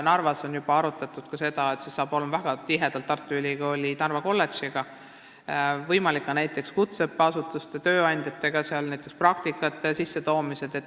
Narvas on juba arutatud seda, et see hakkab olema väga tihedalt seotud Tartu Ülikooli Narva kolledžiga, võimalik, et ka näiteks kutseõppeasutuste ja tööandjatega, näiteks praktikate korraldamisel.